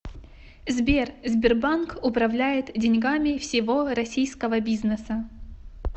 сбер сбербанк управляет деньгами всего российского бизнеса